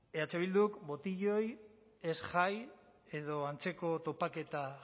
eh bilduk botiloi ez jai edo antzeko topaketa